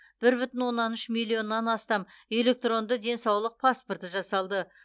бір бүтін оннан үш миллионнан астам электронды денсаулық паспорты жасалды